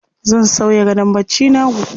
Zan sauya gadon barcina jibi.